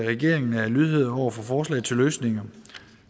regeringen er lydhør over for forslag til løsninger